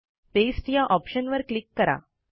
paste या ऑप्शनवर click करा